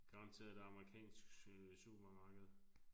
Garanteret et amerikansk øh supermarked